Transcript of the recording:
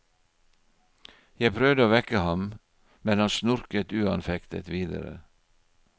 Jeg prøvde å vekke ham, men han snorket uanfektet videre.